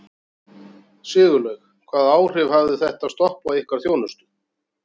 Sigurlaug, hvaða áhrif hafði þetta stopp á ykkar þjónustu?